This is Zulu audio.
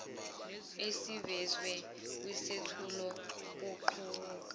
esivezwe kwisethulo kuqubuke